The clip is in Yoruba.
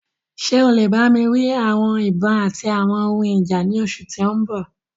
Ṣe o le gba mi ni awọn ibon ati awọn ohun ija ni oṣu ti n bọ?